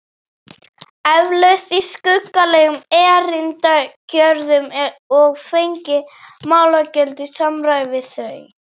Eflaust í skuggalegum erindagjörðum og fengið málagjöld í samræmi við þau.